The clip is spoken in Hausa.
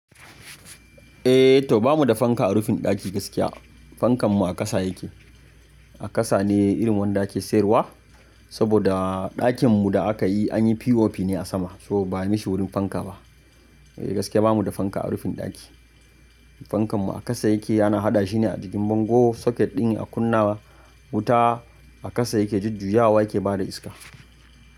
Eh to bamu da fanka a rufin ɗaki gaskiya. Fankanmu a ƙasa yake. A ƙasa ne irin wanda ake siyarwa saboda ɗakinmu da aka yi an yi POP ne a sama so ba a mashi wurin fanka ba. Eh gaskiya bamu da fanka a rufin ɗaki. Fankanmu a ƙasa yake yana haɗa shi ne a jikin bango. Socket ɗin a kunna wuta a ƙasa yake jujjuyawa yake ba da iska.